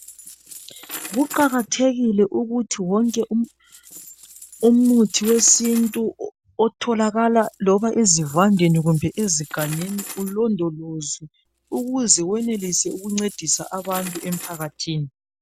Kuqakathekile ukuthi wonke umuthi wesintu otholakala loba ezivandeni kumbe ezigangeni ulondolozwe ukuze wenelise ukuncedisa abantu emphakathini.